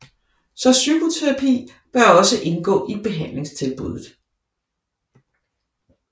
Så psykoterapi bør også kunne indgå i behandlingstilbuddet